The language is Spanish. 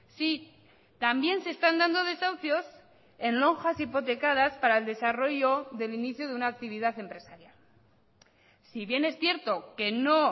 si también se están dando desahucios en lonjas hipotecadas para el desarrollo del inicio de una actividad empresarial si bien es cierto que no